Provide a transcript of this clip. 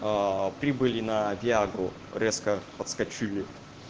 прибыли на виагру резко подскочили